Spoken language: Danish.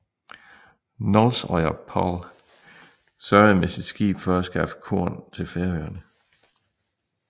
Nólsoyar Páll sørgede med sit skib for at skaffe korn til Færøerne